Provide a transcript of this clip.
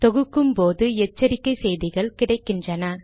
தொகுக்கும்போது எச்சரிக்கை செய்திகள் கிடைக்கின்றன